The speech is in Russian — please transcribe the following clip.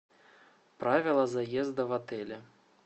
правила заезда в отеле